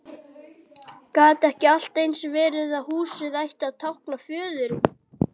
Gat ekki allt eins verið að húsið ætti að tákna föðurinn?